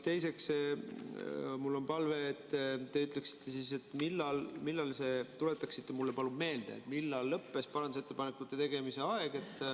Teiseks, mul on palve, et te ütleksite, tuletaksite mulle meelde, millal lõppes parandusettepanekute tegemise aeg.